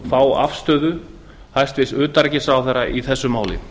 fá afstöðu hæstvirts utanríkisráðherra í þessu máli